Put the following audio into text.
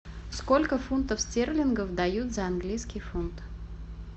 сколько фунтов стерлингов дают за английский фунт